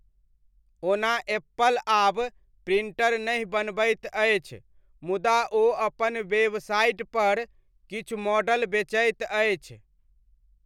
ओना एप्पल आब प्रिण्टर नहि बनबैत अछि, मुदा ओ अपन वेबसाइटपर किछु मॉडल बेचैत अछि।